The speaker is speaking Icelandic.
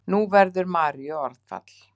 Nú fyrst verður Maríu orðfall.